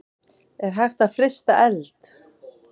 Er hægt að frysta eld?